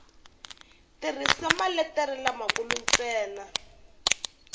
tirhisa maletere lamakulu ntsena nghenisa